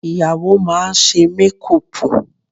Ìyàwó máa ṣe mékùpù